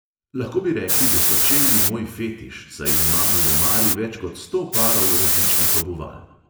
Lahko bi rekli, da so čevlji moj fetiš, saj imam v omari več kot sto parov različnih obuval.